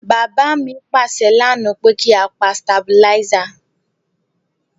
Bàbá mi pàsẹ lánáà pe ki a pa stabilizer